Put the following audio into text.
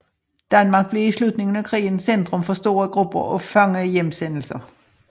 Danmark blev i slutningen af krigen centrum for store grupper af fangehjemsendelser